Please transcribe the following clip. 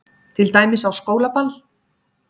Til dæmis á skólaball.